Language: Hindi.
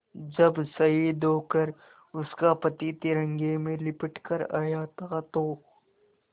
जब शहीद होकर उसका पति तिरंगे में लिपट कर आया था तो